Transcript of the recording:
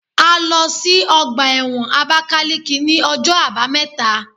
A lọ sí ọgbà ẹ̀wọ̀n Abákáleke ní ọjọ́ àbámẹ́ta